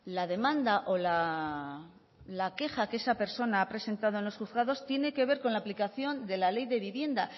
la demanda o la queja que esa persona ha presentado en los juzgados tiene que ver con la aplicación de la ley de vivienda